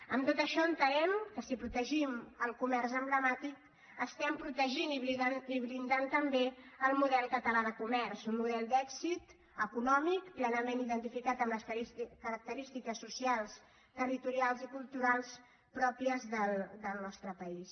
amb tot això entenem que si protegim el comerç emblemàtic estem protegint i blindant també el model català de comerç un model d’èxit econòmic plenament identificat amb les característiques socials territorials i culturals pròpies del nostre país